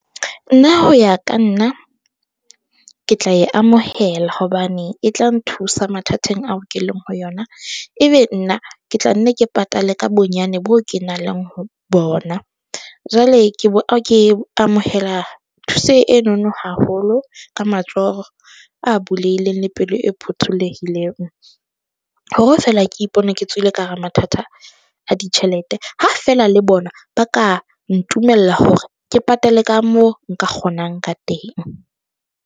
Nna ho ya ka nna ke tla e amohela hobane e tla nthusa mathateng ao ke leng ho yona, e be nna ke tla nne ke patale ka bonyane boo ke nang le ho bona, jwale ke ke amohela thuse enono haholo ka matsoho a bulehileng le pelo e phuthulehileng, hore feela ke ipona ke tswile ka hara mathata a ditjhelete, ha feela le bona ba ka ntumella hore ke patale, ka mo nka kgonang ka teng.